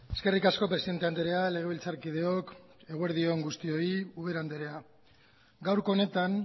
eskerrik asko presidente andrea legebiltzarkideok eguerdi on guztioi ubera andrea gaurko honetan